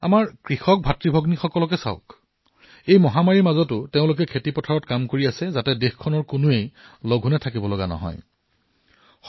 আমাৰ কৃষক ভাইভনীসকলকেই চাওক এফালে সেই মহামাৰীৰ মাজত তেওঁলোকে অহৰ্নিশে পৰিশ্ৰম কৰি আছে আৰু কোনো যাতে ভোকত থাকিবলগীয়া নহয় সেয়াও চিন্তা কৰিছে